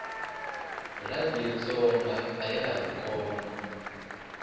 radiyo tsonga ayahari kona